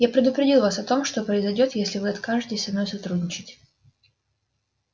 я предупредил вас о том что произойдёт если вы откажетесь со мной сотрудничать